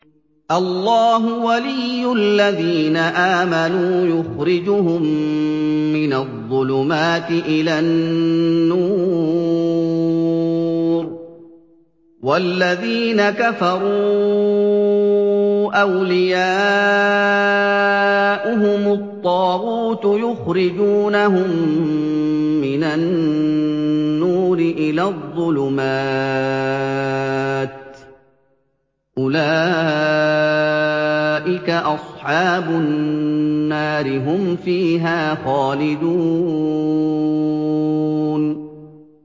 اللَّهُ وَلِيُّ الَّذِينَ آمَنُوا يُخْرِجُهُم مِّنَ الظُّلُمَاتِ إِلَى النُّورِ ۖ وَالَّذِينَ كَفَرُوا أَوْلِيَاؤُهُمُ الطَّاغُوتُ يُخْرِجُونَهُم مِّنَ النُّورِ إِلَى الظُّلُمَاتِ ۗ أُولَٰئِكَ أَصْحَابُ النَّارِ ۖ هُمْ فِيهَا خَالِدُونَ